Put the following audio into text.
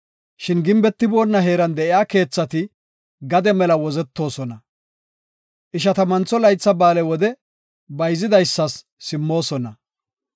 Shin gimbetiboona heeran de7iya keethati gade mela wozetoosona. Ishatammantho Laytha Ba7aale wode bayzidaysas simmoosona.